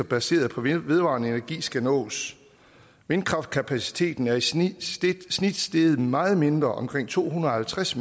baseret på vedvarende energi skal nås vindkraftkapaciteten er i snit steget meget mindre omkring to hundrede og halvtreds